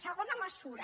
segona mesura